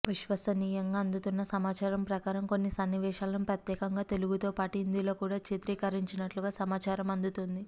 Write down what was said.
విశ్వసనీయంగా అందుతున్న సమాచారం ప్రకారం కొన్ని సన్నివేశాలను ప్రత్యేకంగా తెలుగు తో పాటు హిందీలో కూడా చిత్రీకరించినట్లుగా సమాచారం అందుతోంది